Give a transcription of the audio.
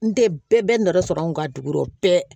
N tɛ bɛɛ nɔ sɔrɔ an kun ka dugu bɛɛ